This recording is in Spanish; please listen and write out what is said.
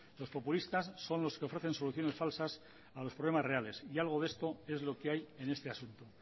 los populistas son los que ofrecen soluciones falsas a los problemas reales y algo de esto es lo que hay en este asunto